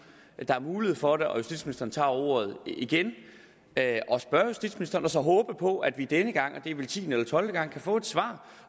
er mulighed for det og justitsministeren tager ordet igen at spørge justitsministeren og så håbe på at vi denne gang og det er vel tiende eller tolvte gang kan få et svar